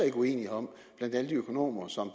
ikke uenighed om blandt alle de økonomer som